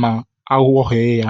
ma eghoghaa ya.